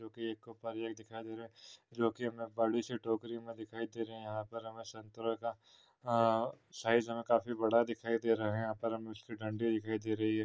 जोकि एक दिखाई दे रहा है जोकि हमे एक बड़ी सी टोकरी मे दिखाई दे रहा है यहा पर हमे संतरे का अ साइज़ हमे काफी बड़ा दिखाई दे रहा है यहा पर हमे उसकी दंडी दिखाई दे रही है।